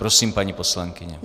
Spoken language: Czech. Prosím, paní poslankyně.